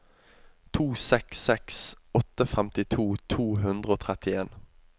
to seks seks åtte femtito to hundre og trettien